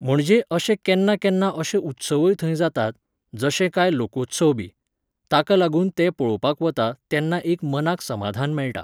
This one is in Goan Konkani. म्हणजे अशे केन्ना केन्ना अशे उत्सवय थंय जातात, जशे काय लोकोत्सवबी. ताका लागून ते पळोवपाक वता तेन्ना एक मनाक समाधान मेळटा.